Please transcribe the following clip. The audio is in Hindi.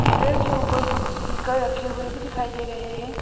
मिरर के ऊपर कुछ स्पीकर रखे हुए भी दिखाई दे रहे हैं।